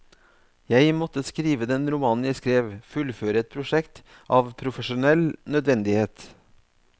Jeg måtte skrive den romanen jeg skrev, fullføre et prosjekt, av profesjonell nødvendighet.